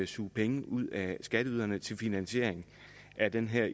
suge penge ud af skatteyderne til finansiering af den her